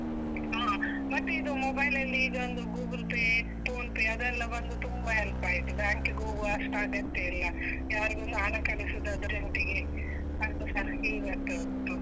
ಹ, ಮತ್ತೆ ಇದು mobile ಅಲ್ಲಿ ಈಗ ಒಂದು Google Pay, Phone Pe ಅದೆಲ್ಲ ಬಂದು ತುಂಬಾ help ಆಯ್ತು. bank ಗೆ ಹೋಗುವ ಅಷ್ಟ್ ಅಗತ್ಯ ಇಲ್ಲ, ಯಾರಿಗೊಂದು ಹಣ ಕಳಿಸುದಾದ್ರೆ account ಗೆ ಅದುಸ easy ಆಗ್ತಾ ಉಂಟು.